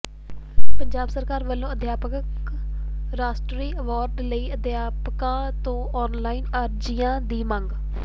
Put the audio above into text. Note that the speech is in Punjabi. ਪੰਜਾਬ ਸਰਕਾਰ ਵੱਲੋਂ ਅਧਿਆਪਕ ਰਾਸ਼ਟਰੀ ਅਵਾਰਡ ਲਈ ਅਧਿਆਪਕਾਂ ਤੋਂ ਆਨਲਾਈਨ ਅਰਜ਼ੀਆਂ ਦੀ ਮੰਗ